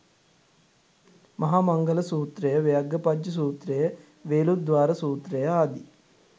මහා මංගල සූත්‍රය, ව්‍යග්ගපජ්ජ සූත්‍රය, වේළුද්වාර සූත්‍රය ආදී